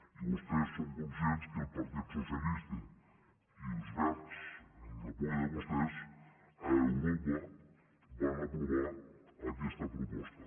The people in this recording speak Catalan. i vostès són conscients que el partit socialista i els verds amb el recolzament de vostès a europa van aprovar aquesta proposta